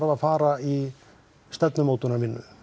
að fara í stefnumótunina